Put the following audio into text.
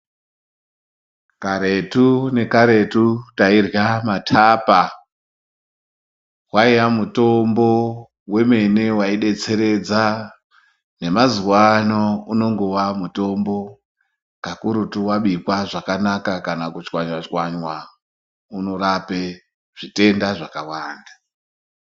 Karetu nekaretu tairya mathapa waiya mutombo wemene waidetseredza nemazuwa ano unongowa mutombo kakurutu wabikwa zvakanaka kana kutswanywa tswanywa unorape zvitenda zvakawanda.